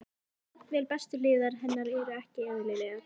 En jafnvel bestu hliðar hennar eru ekki eðlilegar.